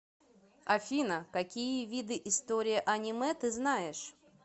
афина какие виды история аниме ты знаешь